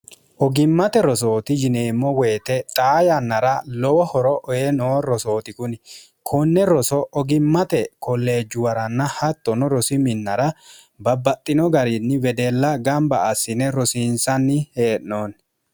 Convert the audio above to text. ogimmate rosooti yineemmo woyite xaa yannara lowo horo oe noo rosooti kuni konne roso ogimmate kolleejjuwaranna hattono rosi minnara babbaxxino gariinni wedella gamba assine rosiinsanni hee'noonni